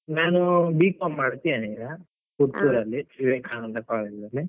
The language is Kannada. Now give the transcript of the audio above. ನಾನೂ B.com ಮಾಡ್ತಿದ್ದೇನೆ ಈಗ, ಪುತ್ತೂರಲ್ಲಿ ವಿವೇಕಾನಂದ college ಅಲ್ಲಿ.